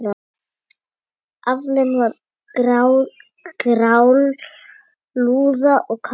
Aflinn var grálúða og karfi.